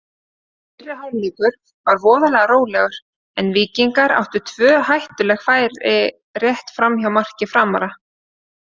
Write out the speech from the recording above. Fyrri hálfleikur var voðalega rólegur en Víkingar áttu tvö hættuleg færi rétt framhjá marki Framara.